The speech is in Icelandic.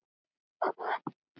Hann var sleginn með orfi.